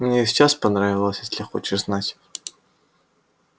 мне и сейчас понравилось если хочешь знать